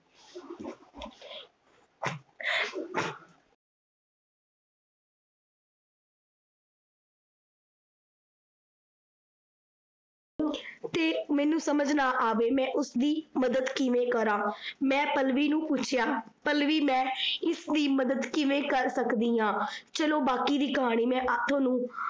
ਤੇ ਮੈਨੂੰ ਸਮਝ ਨਾ ਆਵੈ ਮੈਂ ਉਸਦੀ ਮੱਦਦ ਕਿਵੇ ਕਰਾਂ, ਮੈਂ ਪਲਵੀ ਨੂੰ ਪੁੱਛਿਆ ਪਲਵੀ ਮੈਂ ਇਸਦੀ ਮੱਦਦ ਕਿਵੇ ਕਰ ਸਕਦੀ ਆ, ਚਲੋ ਬਾਕੀ ਦੀ ਕਹਾਣੀ ਮੈਂ ਆਪ ਨੂੰ